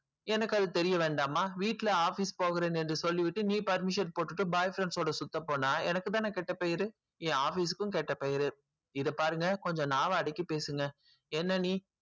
அது எனக்கு தெரிய வேண்டாமா வீட்டுல office போறான்னு சொல்லி விட்டு permission போட்டு boy friend ஓட சுத்த போன எனக்கு தான கேட்ட பேரு என் office க்கும் கேட்ட பேரு இத பாருங்க நாவ அடக்கி பேசுங்க என்ன நீ